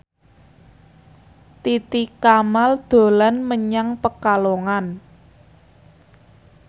Titi Kamal dolan menyang Pekalongan